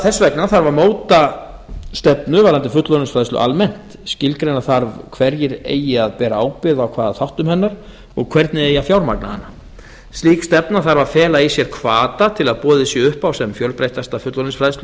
þess vegna þarf að móta stefnu varðandi fullorðinsfræðslu almennt skilgreina þarf hverjir eigi að bera ábyrgð á hvaða þáttum hennar og hvernig eigi að fjármagna hana slík stefna þarf að fela í sér hvata til að boðið sé upp á sem fjölbreyttasta fullorðinsfræðslu